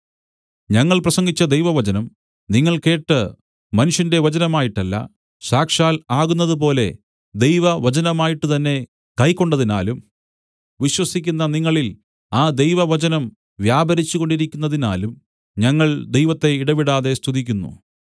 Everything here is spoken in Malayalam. ഞങ്ങൾ പ്രസംഗിച്ച ദൈവവചനം നിങ്ങൾ കേട്ട് മനുഷ്യന്റെ വചനമായിട്ടല്ല സാക്ഷാൽ ആകുന്നതുപോലെ ദൈവവചനമായിട്ട് തന്നേ കൈക്കൊണ്ടതിനാലും വിശ്വസിക്കുന്ന നിങ്ങളിൽ ആ ദൈവവചനം വ്യാപരിച്ചുകൊണ്ടിരിക്കുന്നതിനാലും ഞങ്ങൾ ദൈവത്തെ ഇടവിടാതെ സ്തുതിക്കുന്നു